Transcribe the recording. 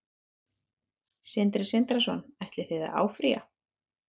Sindri Sindrason: Ætlið þið að áfrýja?